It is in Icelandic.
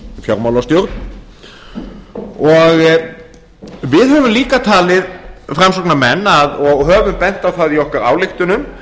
fjármálastjórn við höfum líka talið framsóknarmenn og höfum bent á það í okkar ályktunum